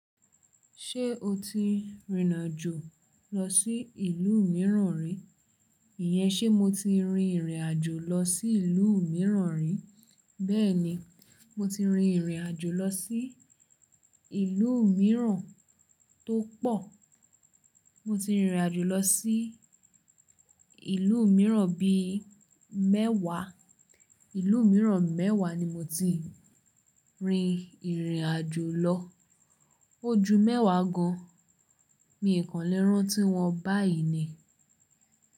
Ṣé o ti rìnrìn àjò lọ sí ìlú mìíràn rí? Ìyẹn ṣe mo ti rin ìrìn àjò lọ sí ìlú mìíràn rí? Bẹ́ẹ̀ni, mo ti rin ìrìn àjò lọ sí ìlú mìíràn tó pọ̀. Mo ti rìnrìn àjò lọ sí ìlú mìíràn bíi mẹ́wàá. Ìlú mìíràn mẹ́wàá ni mo ti rin ìrìn àjò lọ. Ojú mẹ́wàá gan-an ni ìkànnlé rán tí wọn báyìí ni.